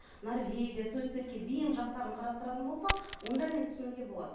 норвегия суицидке бейім жақтарын қарастыратын болсақ онда мен түсінуге болады